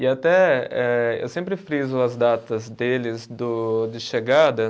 E até eh, eu sempre friso as datas deles do de chegada.